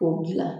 K'o dilan